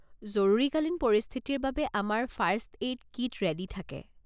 জৰুৰীকালীন পৰিস্থিতিৰ বাবে আমাৰ ফাৰ্ষ্ট এইড কিট ৰে'ডী থাকে।